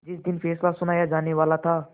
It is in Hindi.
जिस दिन फैसला सुनाया जानेवाला था